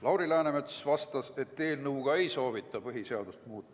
Lauri Läänemets vastas, et eelnõuga ei soovita põhiseadust muuta.